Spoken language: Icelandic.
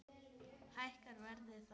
Hækkar verðið þá?